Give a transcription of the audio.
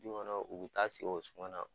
Du kɔnɔ u bɛ taa sigi o suma na